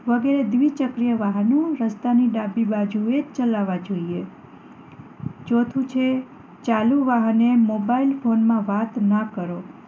વગેરે દ્વિ ચક્રીય વાહનો તો રસ્તા ની ડાબી બાજુએ જ ચલાવા જોઈએ ચોથું છે ચાલુ વાહને મોબાઈલ ફોન માં વાત ન કરો